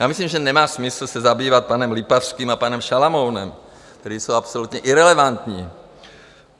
Já myslím, že nemá smysl se zabývat panem Lipavským a panem Šalamounem, kteří jsou absolutně irelevantní.